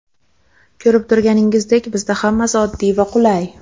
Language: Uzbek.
Ko‘rib turganingizdek, bizda hammasi oddiy va qulay.